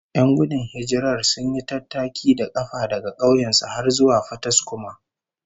Yan gudun hijirar sun yi tattaki da kafa daga kauyen su har zuwa Fataskuma